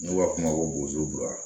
N'u b'a f'o ma ko bozora